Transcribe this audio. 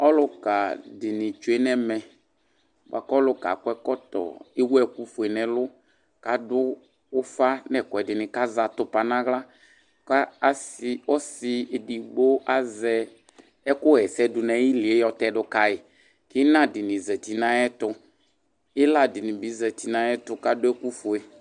Ɔlʋka dini tsʋe nʋ ɛmɛ bʋakʋ akɔ ɛkɔtɔ ewʋ ɛkʋfue nʋ ɛlʋ kʋ adʋ ufa nʋ ɛkʋɛdini kʋ azɛ atupa nʋ aɣla kʋ ɔsi edigbo azɛ ɛkʋxaɛsɛ dʋnʋ ayilie yɔ tɛdʋ kayi kʋ inadini zati nʋ ayʋ ɛyʋ ɛtʋ kb iladini ni zati nʋ ayʋ ɛtʋ kʋ adʋ awʋfue